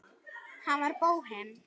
Hann var bóhem.